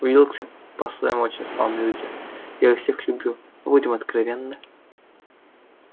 уилксы по-своему очень славные люди я их всех люблю но будем откровенны